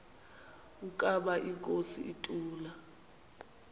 ukaba inkosi ituna